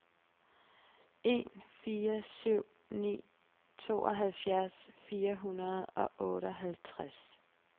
en fire syv ni tooghalvfjerds fire hundrede og otteoghalvtreds